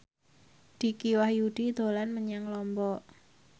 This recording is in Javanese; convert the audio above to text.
Dicky Wahyudi dolan menyang Lombok